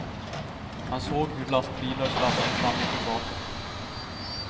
Han såg hur lastbilar sladdade fram och tillbaka.